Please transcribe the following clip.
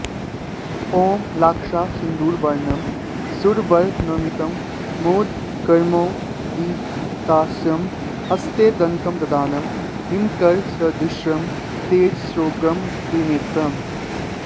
ॐलाक्षासिन्दूरवर्णं सुरवरनमितं मोदकैर्मोदितास्यं हस्ते दन्तं ददानं हिमकरसदृशं तेजसोग्रं त्रिनेत्रम्